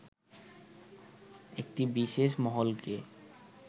একটি বিশেষ মহলকে